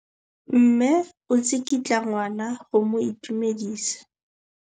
Mme o tsikitla ngwana go mo itumedisa.